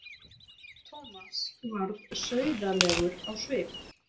Thomas varð sauðalegur á svip.